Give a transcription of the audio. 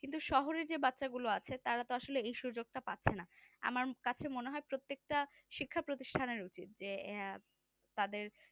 কিন্তু শহরে যে বাচ্চাগুলো আছে তারা তো আসলে এই সুযোগটা পাচ্ছে না আমার কাছে মনে হয় প্রত্যেকটা শিক্ষা প্রতিষ্ঠানের উচিত যে আহ তাদের